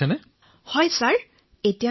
প্ৰধানমন্ত্ৰীঃ ঠিক আছে ভাল কৰিছে আপুনি